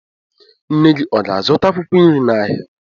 Nne gị ọ ga-azụta akwụkwọ nri n'ahịa?